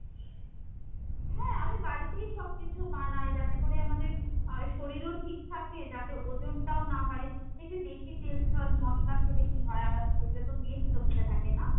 হ্যাঁ আমি বাড়িতেই সব কিছু বানাই যাতে করে আমাদের আহ শরীরও ঠিক থাকে, যাতে ওজনটাও না বাড়ে। দেখবি বেশি তেল, ঝাল, মশলা খেলে কি হয় আমাদের শরীরে তো মেদ জমতে থাকে না ?